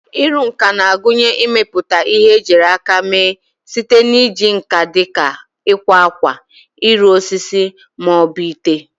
Ịrụ nka na-agụnye ịmepụta ihe ejiri aka mee site na iji nkà dị ka ịkwa akwa, ịrụ osisi, ma ọ bụ ite.